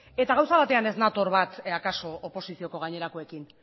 eta gauza batean ez nator bat akaso oposizioko gainerakoekin